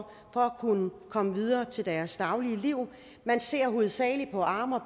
kunne komme videre til deres daglige liv man ser hovedsagelig på arme og